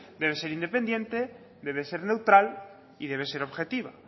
debe ser independiente debe ser neutral y debe ser objetiva